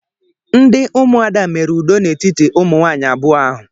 Ndị ụmụada mere udo n'etiti ụmụ nwaanyị abụọ ahụ.